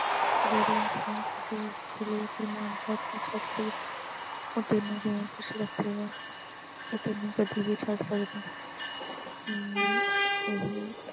ਜਿਹੜਾ ਇਨਸਾਨ ਕਿਸੇ ਹੋਰ ਬਦਲੇ ਆਪਣੇ ਮਾਂ-ਪਿਉ ਨੂੰ ਛੱਡ ਸਕਦਾ, ਉਹ ਤੈਨੂੰ ਕਿਦਾਂ ਖੁਸ਼ ਰੱਖੇਗਾ ਉਹ ਤੈਨੂੰ ਕਦੀ ਵੀ ਛੱਡ ਸਕਦਾ mummy ਇਹ